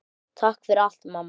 Takk fyrir allt, mamma.